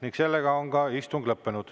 Istung on lõppenud.